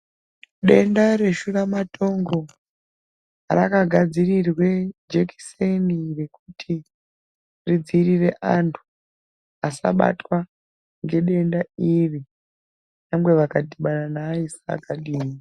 Denda reshura matongo raka gadzirirwe jekiseni rekuti tidzivirire antu asabatwa ngedenda iri nyangwe akadhibana nevaisa vakadini.